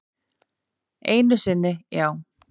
Einu sinni já.